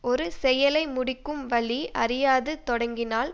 ஒரு செயலை முடிக்கும் வழி அறியாது தொடங்கினால்